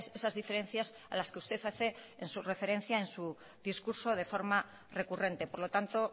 esas diferencias a las que usted hace en su referencia en su discurso de forma recurrente por lo tanto